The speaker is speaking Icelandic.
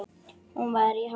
Hún var í háskóla í